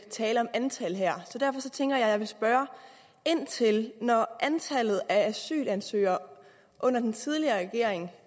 tale om antal her så derfor tænker jeg vil spørge ind til om det når antallet af asylansøgere under den tidligere regering